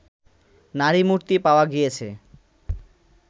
নারীমূর্তি পাওয়া গিয়েছে